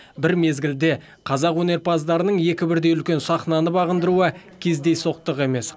бір мезгілде қазақ өнерпаздарының екі бірдей үлкен сахнаны бағындыруы кездейсоқтық емес